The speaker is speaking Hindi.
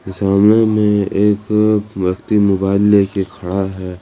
सामने में एक व्यक्ति मोबाइल लेके खड़ा है।